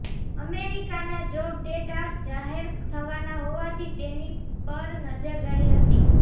અમેરિકાના job data જાહેર થવાના હોવાથી તેની પર નજર રહી હતી